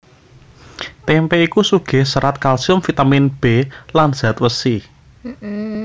Témpé iku sugih serat kalsium vitamin B lan zat wesi